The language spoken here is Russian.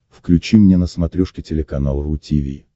включи мне на смотрешке телеканал ру ти ви